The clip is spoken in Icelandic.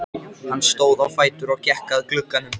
Hann stóð á fætur og gekk að glugganum.